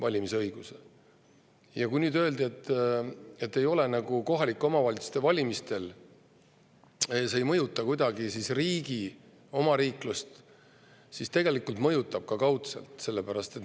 Siin öeldi, et kohaliku omavalitsuse valimised ei mõjuta kuidagi omariiklust, aga tegelikult kaudselt mõjutavad.